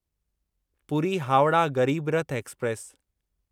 Puri Howrah Garib Rath express